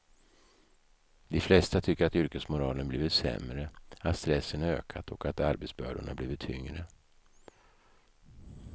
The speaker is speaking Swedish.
De flesta tycker att yrkesmoralen blivit sämre, att stressen ökat och att arbetsbördorna blivit tyngre.